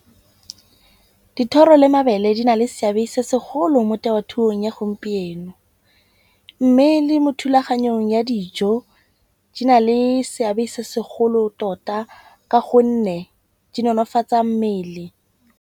Dithoro le mabele di na le seabe se segolo mo temothuong ya gompieno. Mme le mo thulaganyong ya dijo di na le seabe se segolo tota ka gonne di nonofatsa mmele.